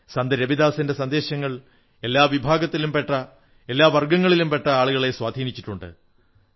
സന്ത് രവിദാസിന്റെ സന്ദേശങ്ങൾ എല്ലാ വിഭാഗത്തിലും പെട്ട എല്ലാ വർഗ്ഗങ്ങളിലുടെ പെട്ട ആളുകളെ സ്വാധീനിച്ചിട്ടുണ്ട്